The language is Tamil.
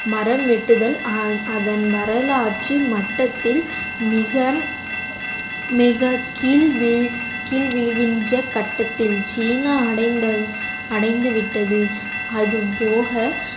மரம் வெட்டுதல் அஹ் அதன் வரலாற்றின் மட்டத்தில் மிக மிகக் கீழ்~ என்ற கட்டத்தில் சீனா அடைந்த~ அடைந்து விட்டது அது போக